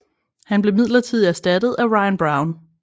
Han blev midlertidigt erstattet af Ryan Brown